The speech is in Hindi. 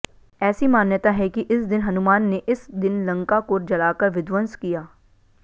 ऐसी मान्यता है कि इस दिन हनुमान ने इस दिन लंका को जलाकर विध्वंश किया